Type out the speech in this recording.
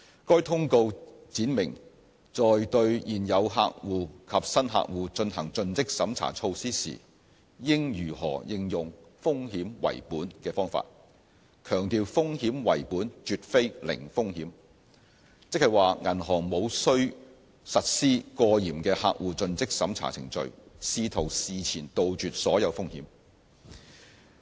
該通告闡明在對現有客戶及新客戶進行盡職審查措施時應如何應用"風險為本"的方法，強調"風險為本"絕非"零風險"，即是說銀行無需實施過嚴的客戶盡職審查程序，試圖事前杜絕所有風險。